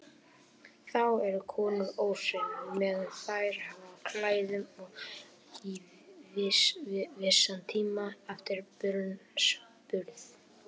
Þá eru konur óhreinar meðan þær hafa á klæðum og í vissan tíma eftir barnsburð.